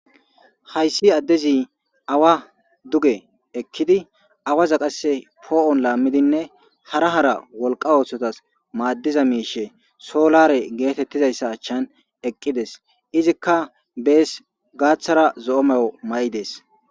Hayssi addezi awa duge ekkidi awaza qase poo7on laammidinne hara hara wolqa oothotas maaddiza miishe soolare geetettizayssa achchan eqqides izikka bees gaaththara zo7o mayo may7i dees